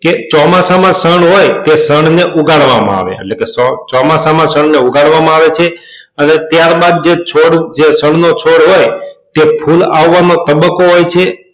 કે ચોમાસા માં ષણ હોય તે ષણ ને ઉગાડવા માં આવે એટલે કે ચોમાસા માં ષણ ને ઉગાડવા માં આવે છે અને ત્યાર બાદ જે છોડ જે ષણ નો છોડ હોય તે ફૂલ આવવા નો તબક્કો હોય છે